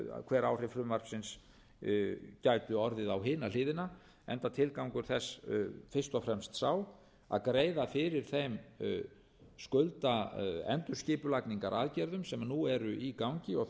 hver áhrif frumvarpsins gætu orðið á hina hliðina enda tilgangur þess fyrst og fremst sá að greiða fyrir þeim skuldaendurskipulagningaraðgerðum sem nú eru í gangi og